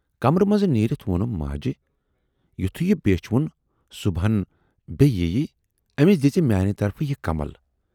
کَمرٕ مَنز نیٖرِتھ وونُم ماجہِ"یِتھُے یہِ بیچھِ وُن صُبحن بییہِ یِیہِ، ٲمِس دِزِ میانہٕ طرفہٕ یہِ کمل